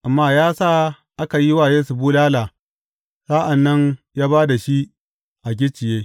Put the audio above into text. Amma ya sa aka yi wa Yesu bulala, sa’an nan ya ba da shi a gicciye.